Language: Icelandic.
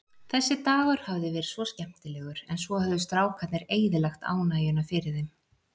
Þessi dagur hafði verið svo skemmtilegur, en svo höfðu strákarnir eyðilagt ánægjuna fyrir þeim.